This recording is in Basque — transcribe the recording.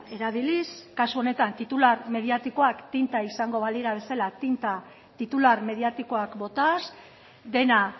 erabiliz kasu honetan titular mediatikoak tinta izango balira bezala tinta titular mediatikoak botaz dena